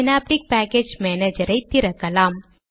synaptic package மானேஜரை திறக்கலாம்